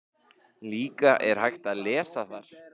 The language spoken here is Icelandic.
Líka er hægt að lesa þar